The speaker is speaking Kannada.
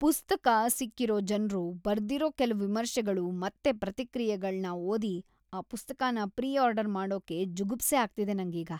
ಪುಸ್ತಕ ಸಿಕ್ಕಿರೋ ಜನ್ರು ಬರ್ದಿರೋ ಕೆಲ್ವು ವಿಮರ್ಶೆಗಳು ಮತ್ತೆ ಪ್ರತಿಕ್ರಿಯೆಗಳ್ನ ಓದಿ ಆ ಪುಸ್ತಕನ ಪ್ರೀ ಆರ್ಡರ್ ಮಾಡೋಕೇ ಜುಗುಪ್ಸೆ ಆಗ್ತಿದೆ ನಂಗೀಗ.